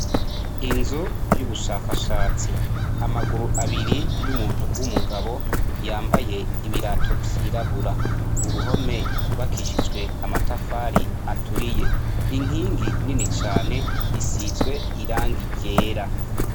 Inzu y'ubushakashatsi. Amaguru abiri y'umuntu w'umugabo, yambaye ibirato vyirabura. Uruhome rwubakishijwe amatafari aturiye. Inkingi nini cane isizwe irangi ryera.